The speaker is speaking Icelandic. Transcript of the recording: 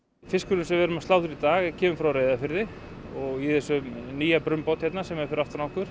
fiskurinn sem við erum að slátra í dag kemur frá Reyðarfirði og í þessum nýja brunnbáti hérna sem er fyrir aftan okkur